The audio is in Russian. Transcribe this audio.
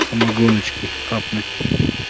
самогоночки хапнуть